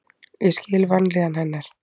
Ég skil vanlíðan hennar.